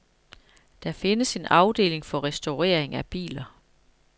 Der findes en afdeling til restaurering af biler.